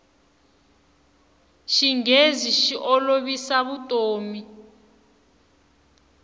xinghezi xi olovisa vutomi